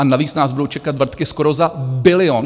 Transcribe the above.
A navíc nás budou čekat vrtky skoro za bilion.